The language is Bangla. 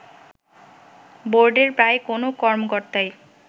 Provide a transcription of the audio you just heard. বোর্ডের প্রায় কোনও কর্মকর্তাই